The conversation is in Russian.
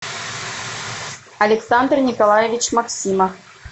александр николаевич максимов